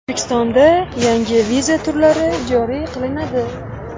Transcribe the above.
O‘zbekistonda yangi viza turlari joriy qilinadi.